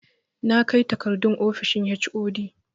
Na kai takardun ofishin HOD